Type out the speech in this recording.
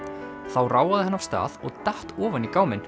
þá ráfaði hann af stað og datt ofan í